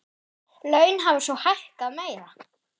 Laun hafa svo hækkað meira.